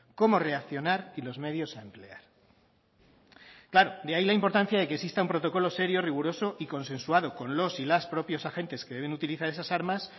cómo reaccionar y los medios a emplear claro de ahí la importancia de que exista un protocolo serio riguroso y consensuado con los y las propios agentes que deben utilizar esas armas